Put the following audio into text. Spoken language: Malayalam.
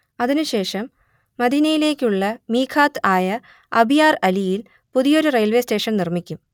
അതിനു ശേഷം മദീനയിലേക്കുള്ള മീഖാത്ത് ആയ അബിയാർ അലിയിൽ പുതിയൊരു റെയിൽവേ സ്റ്റേഷൻ നിർമ്മിക്കും